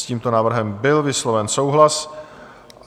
S tímto návrhem byl vysloven souhlas.